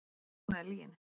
En ég hafnaði lyginni.